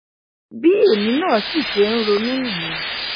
bí èmi náà sì ṣe ń ronú nìyẹn